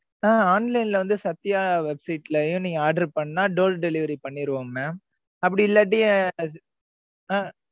ஆஹ் online ல வந்து Sathya website லையும் நீங்க order பண்ணா, door delivery பண்ணிடுவோம் mam அப்படி இல்லாட்டி, ஆஹ்